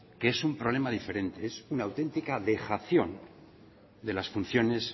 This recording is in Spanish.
que es un problema diferente es una auténtica dejación de las funciones